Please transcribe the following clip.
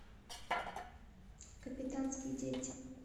капитанские дети